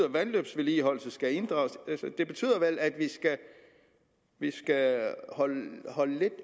at vandløbsvedligeholdelse skal inddrages altså det betyder vel at vi skal holde lidt